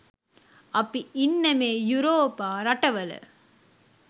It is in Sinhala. අපි ඉන්න මේ යුරෝපා රටවල